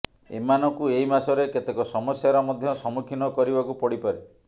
ଏମାନଙ୍କୁ ଏହି ମାସରେ କେତେକ ସମସ୍ୟାର ମଧ୍ୟ ସମ୍ମୁଖୀନ କରିବାକୁ ପଡ଼ିପାରେ